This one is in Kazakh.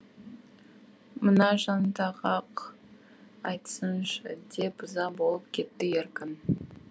мына жантақ ақ айтсыншы деп ыза болып кетті еркін